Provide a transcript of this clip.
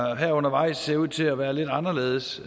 der her undervejs ser ud til at være lidt anderledes